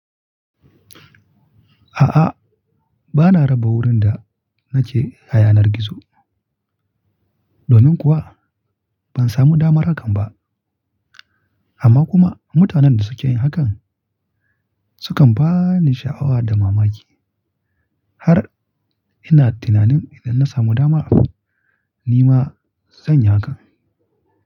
A'a, ba na raba wurin da nake hayar gizo. Domin kuwa ban samu dama hakan ba. Amma kuma mutanen da suke yin hakan sukan ba ni sha'awa da mamaki har ina tunanin idan na samu dama ni ma zan yi hakan.